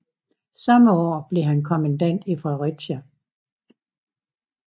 Samme år blev han kommandant i Fredericia